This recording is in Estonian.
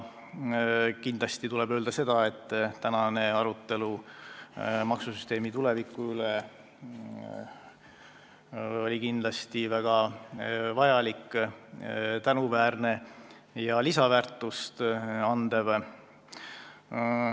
Kindlasti tuleb öelda, et tänane arutelu maksusüsteemi tuleviku üle oli väga vajalik, tänuväärne ja lisandväärtust andev.